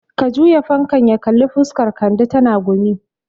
Ka juya fankan ya kalli fuskan Kande, tana gumi